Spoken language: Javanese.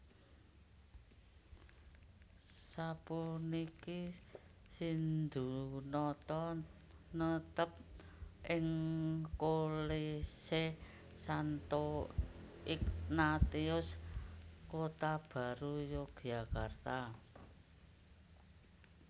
Sapuniki Sindhunata netep ing Kolese Santo Ignatius Kotabaru Yogyakarta